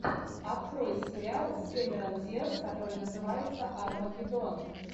открой сериал с кэмерон диаз который называется армагеддон